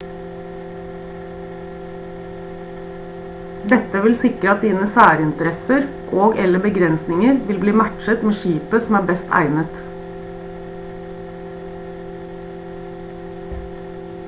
dette vil sikre at dine særinteresser og/eller begrensninger vil bli matchet med skipet som er best egnet